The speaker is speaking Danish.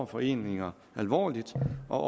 foreningerne alvorligt og